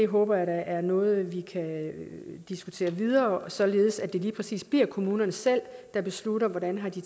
håber jeg da er noget vi kan diskutere videre således at det lige præcis bliver kommunerne selv der beslutter hvordan de